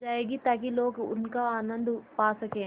जाएगी ताकि लोग उनका आनन्द पा सकें